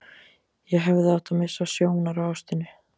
Ég hefði átt að missa sjónar á ástinni.